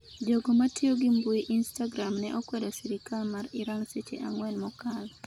Jogo matiyo gi mbui instagram ne okwedo sirikal mar Iran seche ang'wen mokalo